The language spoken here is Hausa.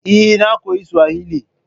Eh, na koyi Suwahili